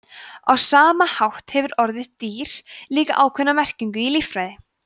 á sama hátt hefur orðið „dýr“ líka ákveðna merkingu í líffræði